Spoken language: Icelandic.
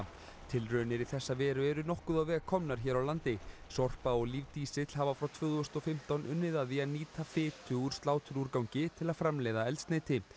tilraunir í þessa veru eru nokkuð á veg komnar hér á landi Sorpa og lífdísill hafa frá tvö þúsund og fimmtán unnið að því að nýta fitu úr sláturúrgangi til að framleiða eldsneyti